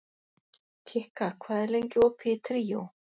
Kikka, hvað er lengi opið í Tríó?